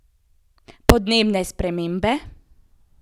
Podnebne spremembe?